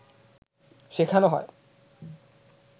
শেখানো হয়